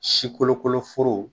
Si kolokolo foro